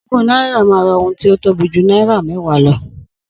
Ogún náírà ma ra ohun tí o tóbi jù náírà méwàá lọ